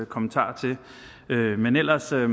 kommentarer til men ellers er det